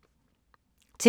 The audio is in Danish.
TV 2